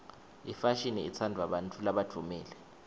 imfashini itsandvwa bantfu labadvumile